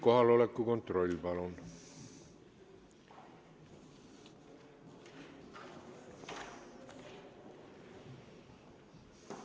Kohaloleku kontroll, palun!